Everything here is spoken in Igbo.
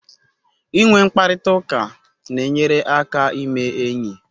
Inwe mkparịta ụka na-enyere aka ime enyi